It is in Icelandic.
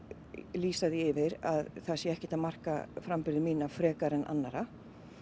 lýsa því yfir að það sé ekkert að marka framburði mína frekar en annarra